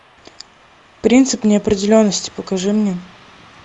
принцип неопределенности покажи мне